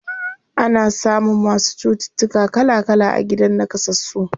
Ana samun masu cututtuka kala kala a gidan naƙasassu.